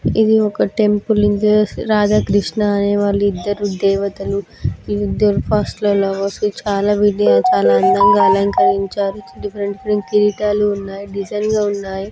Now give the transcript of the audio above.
ఇది ఒక టెంపుల్ ఇది రాధాకృష్ణ వాళ్ళిద్దరూ దేవతలు వీళ్ళిద్దరూ ఫస్ట్ చాలా డిఫరెంట్ డిఫరెంట్ కిరీటాలు ఉన్నాయి డిజైన్స్ ఉన్నాయి.